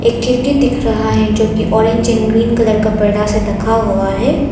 एक खिड़की दिख रहा है जो की ऑरेंज एंड ग्रीन कलर का पर्दा से ढका हुआ है।